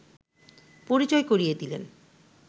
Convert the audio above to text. পরিচয় করিয়ে দিলেন